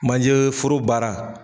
Manjeforo baara